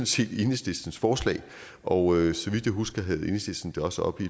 set enhedslistens forslag og så vidt jeg husker havde enhedslisten det også oppe